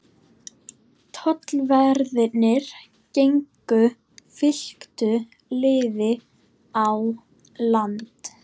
Tollverðirnir gengu fylktu liði á land.